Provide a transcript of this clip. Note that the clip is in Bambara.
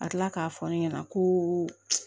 Ka kila k'a fɔ ne ɲɛna ko